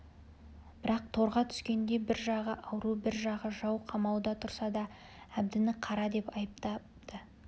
бірақ торға түскендей бір жағы ауру бір жағы жау қамауда тұрса да әбдіні қара деп айтпапты